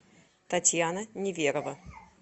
татьяна неверова